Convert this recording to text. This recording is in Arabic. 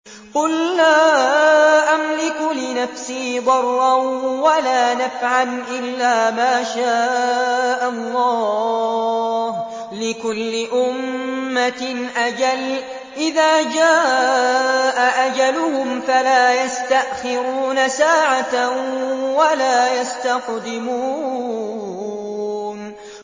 قُل لَّا أَمْلِكُ لِنَفْسِي ضَرًّا وَلَا نَفْعًا إِلَّا مَا شَاءَ اللَّهُ ۗ لِكُلِّ أُمَّةٍ أَجَلٌ ۚ إِذَا جَاءَ أَجَلُهُمْ فَلَا يَسْتَأْخِرُونَ سَاعَةً ۖ وَلَا يَسْتَقْدِمُونَ